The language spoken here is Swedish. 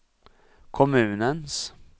kommunens